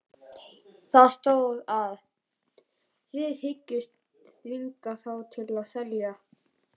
Það stóð, að þið hygðust þvinga þá til að selja